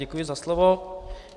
Děkuji za slovo.